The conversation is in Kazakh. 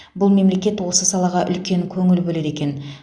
бұл мемлекет осы салаға үлкен көңіл бөледі екен